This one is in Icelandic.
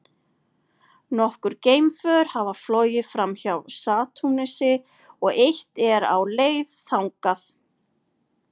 Nokkur geimför hafa flogið framhjá Satúrnusi og eitt er á leið þangað.